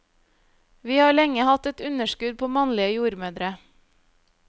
Vi har lenge hatt et underskudd på mannlige jordmødre.